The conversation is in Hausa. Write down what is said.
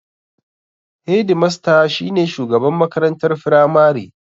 Hedimasta shi ne shugaban makarantar firamare.